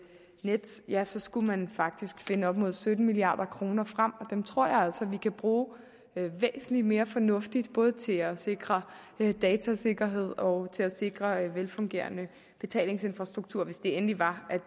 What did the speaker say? nets ja så skulle man faktisk finde op mod sytten milliard kroner frem og dem tror jeg altså at vi kan bruge væsentlig mere fornuftigt både til at sikre datasikkerhed og til at sikre en velfungerende betalingsinfrastruktur hvis det endelig var